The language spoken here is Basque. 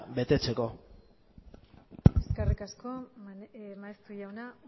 betetzeko eskerrik asko maeztu jauna